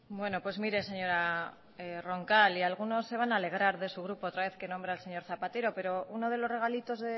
bueno pues mire señora roncal y algunos se van a alegrar de su grupo otra vez que nombra al señor zapatero pero uno de los regalitos